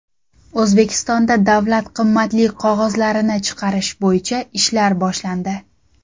O‘zbekistonda davlat qimmatli qog‘ozlarini chiqarish bo‘yicha ishlar boshlandi.